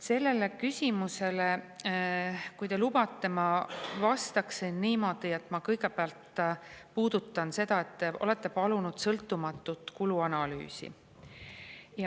" Sellele küsimusele, kui te lubate, ma vastan niimoodi, et ma kõigepealt puudutan seda, et te olete palunud sõltumatut kuluanalüüsi.